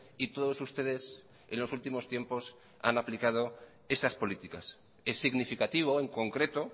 y todos ustedes en los últimos tiempos han aplicado esas políticas es significativo en concreto